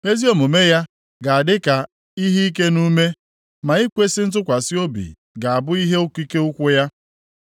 Ezi omume ya ga-adị ka ihe ike nʼume, ma ikwesi ntụkwasị obi ga-abụ ihe okike ukwu ya.